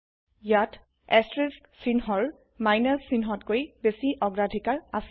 ইয়াত চিহ্নৰ বিয়োগ চিহ্নতকৈ বেছি অগ্ৰাধিকাৰ আছে